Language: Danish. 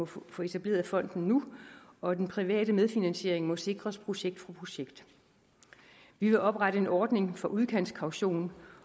få etableret fonden nu og den private medfinansiering må sikres projekt for projekt vi vil oprette en ordning for udkantskaution